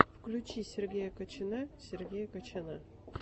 включи сергея качана сергея качана